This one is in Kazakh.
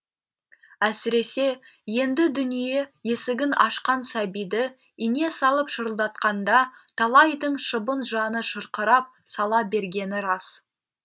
әсіресе енді дүние есігін ашқан сәбиді ине салып шырылдатқанда талайдың шыбын жаны шырқырап сала бергені рас